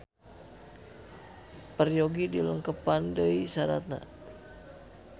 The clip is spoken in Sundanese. Peryogi dilengkepan deui saratna